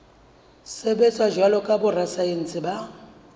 sebetsa jwalo ka borasaense ba